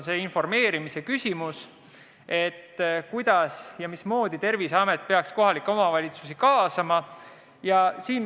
See on informeerimise küsimus: kuidas ja mismoodi peaks Terviseamet kohalikke omavalitsusi kaasama?